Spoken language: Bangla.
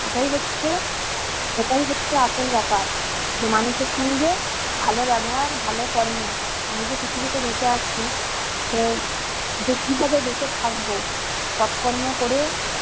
এটাই হচ্ছে এটাই হচ্ছে আসল ব্যাপার। যে মানুষের সঙ্গে ভালো ব্যবহার, ভালো কর্ম, আমি যে পৃথিবীতে বেঁচে আছি সে সে কিভাবে বেঁচে থাকবো? সৎ কর্ম করে,